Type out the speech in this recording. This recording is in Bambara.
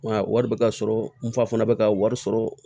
Nka wari bɛ ka sɔrɔ n fa fana bɛ ka wari sɔrɔ